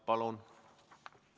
Palun!